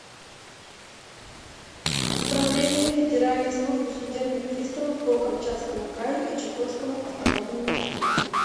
управление федеральной службы судебных приставов по камчатскому краю и чукотскому автономному округу